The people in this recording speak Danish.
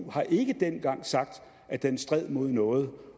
ef har ikke dengang sagt at den stred mod noget